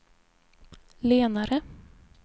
lenare